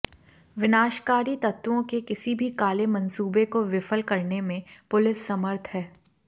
विनाशकारी तत्वों के किसी भी काले मनसूबे को विफल करने में पुलिस समर्थ है